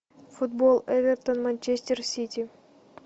футбол эвертон манчестер сити